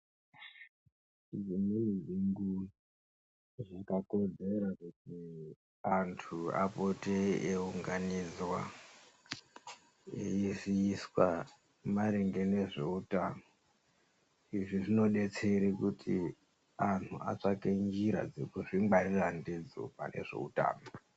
Dzimweni dzenguva zvakakodzera kuti antu apote eiunganidzwa eiziviswa maringe nezveutano. Izvi zvinodetsere kuti antu atsvake njira dzekuzvingwarira ndidzo pane zveutano.